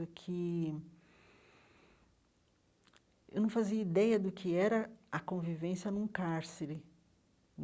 Do que eu não fazia ideia do que era a convivência num cárcere.